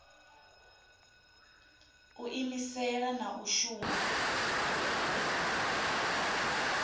u iimisela na u shuma